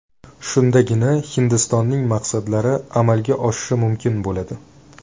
Shundagina Hindistonning maqsadlari amalga oshishi mumkin bo‘ladi.